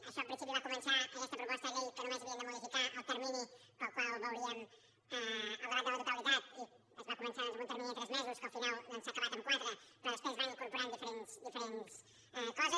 això en principi va començar aquesta proposta de llei que només havíem de modificar el termini en el qual veuríem el debat de la totalitat i es va començar doncs amb un termini de tres mesos que al final s’ha acabat en quatre però després va incorporant diferents coses